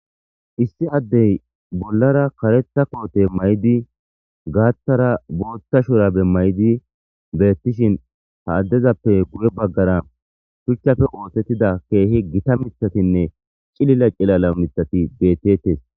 issi addey bollara karetha koote may7di gaaththara booththa shurabe may7di beettishin ha addezappe guye baggara shuchchafe ootettida keehi gita mithatinne cilila cilala mithati beettetes